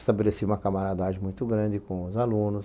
Estabeleci uma camaradagem muito grande com os alunos.